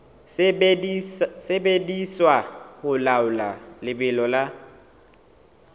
sebediswa ho laola lebelo la